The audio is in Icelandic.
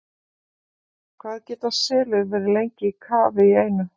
Hvað geta selir verið lengi í kafi í einu?